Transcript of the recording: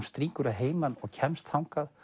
strýkur að heiman og kemst þangað